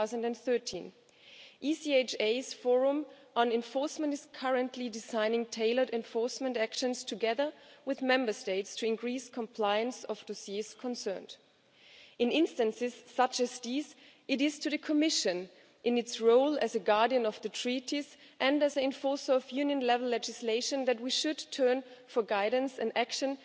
2013. ECHA's Enforcement Forum is currently designing tailored enforcement actions, together with Member States, to increase compliance of the dossiers concerned. In instances such as these, it is to the Commission, in its role as guardian of the Treaties and as enforcer of Union level legislation, that we should turn for guidance and action